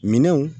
Minɛnw